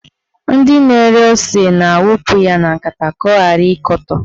Ndị na-ere ose na-awụpụ ya na nkata ka ọ ghara ịkọtọ